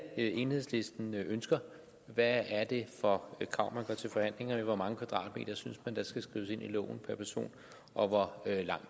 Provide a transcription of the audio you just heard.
er det enhedslisten ønsker hvad er det for krav man går til forhandlinger med hvor mange kvadratmeter synes man der skal skrives ind i loven og hvor lang